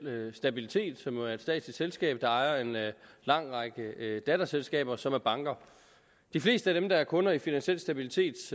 stabilitet som jo er et statsligt selskab der ejer en lang række datterselskaber som er banker de fleste af dem der er kunder i finansiel stabilitets